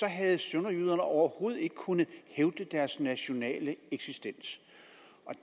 havde sønderjyderne overhovedet ikke kunnet hævde deres nationale eksistens